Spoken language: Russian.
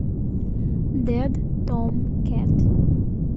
дэд том кэт